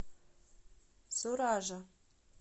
суража